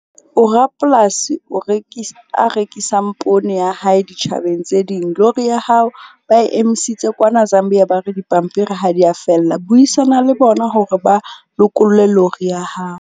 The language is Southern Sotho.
O rapolasi o a rekisang poone ya hae ditjhabeng tse ding. Lori ya hao, ba emisitse kwana Zambia. Ba re dipampiri ha di ya fella, buisana le bona hore ba lokolle lorry ya hao.